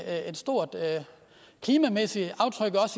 et stort klimamæssigt aftryk